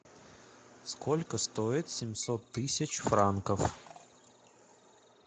сколько стоит семьсот тысяч франков